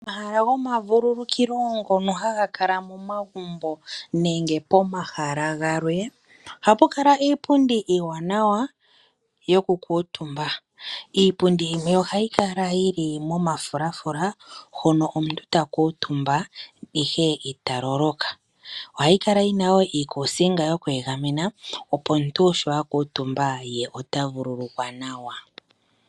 Omahala goma vululukilo ngono haga kala momagumbo nenge pomahala galwe ohapu kala iipundi iiwanawa yoku kuutumba. Iipundi yimwe ohayi kala yi li momafulafula ngono omuntu ta kuutumba ihe ita loloka. Ohagu kala yina wo iikusinga yoku egamena, opo omuntu sho akuutumba ye ota vululukwa nawa.